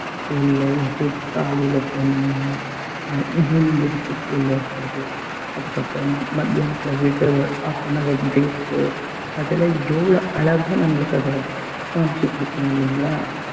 உள்ள எப்படி காலையில போனோம்னா அ medical school ல இருக்கிறது அதுக்கப்புறமா மத்தியானத்துல விடுற ஒரு half an hour break உ அதுல எவ்வளவு அழகா நம்மளுக்கு அதுல காமிச்சு கொடுக்கும் இல்லைங்களா